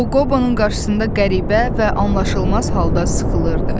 O Qobonun qarşısında qəribə və anlaşılmaz halda sıxılırdı.